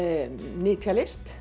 nytjalist